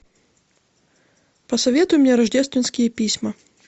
посоветуй мне рождественские письма